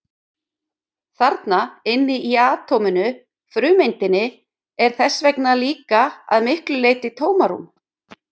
Þarna inni í atóminu, frumeindinni, er þess vegna líka að miklu leyti tómarúm!